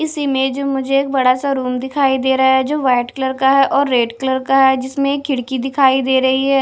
इस इमेज मुझे एक बड़ा सा रूम दिखाई दे रहा है जो वाइट कलर का है और रेड कलर का है जिसमें एक खिड़की दिखाई दे रही है।